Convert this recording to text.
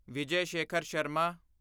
Vijay Shekhar Sharma